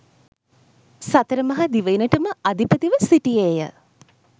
සතර මහා දිවයිනටම අධිපතිව සිටියේය.